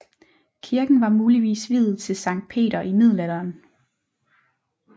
Kirken var muligvis viet til Sankt Peter i middelalderen